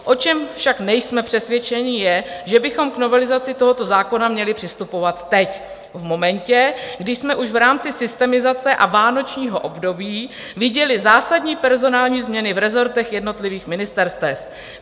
O čem však nejsme přesvědčeni, je, že bychom k novelizaci tohoto zákona měli přistupovat teď, v momentě, kdy jsme už v rámci systemizace a vánočního období viděli zásadní personální změny v rezortech jednotlivých ministerstev.